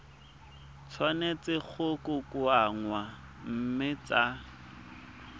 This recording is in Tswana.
tshwanetse go kokoanngwa mme tsa